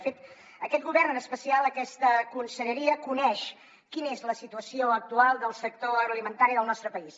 de fet aquest govern en especial aquesta conselleria coneix quina és la situació actual del sector agroalimentari del nostre país